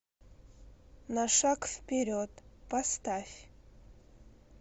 на шаг вперед поставь